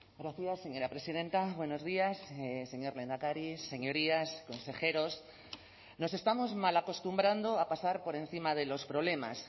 gracias señora presidenta buenos días señor lehendakari señorías consejeros nos estamos mal acostumbrando a pasar por encima de los problemas